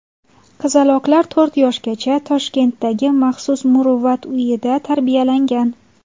Qizaloqlar to‘rt yoshgacha Toshkentdagi maxsus muruvvat uyida tarbiyalangan.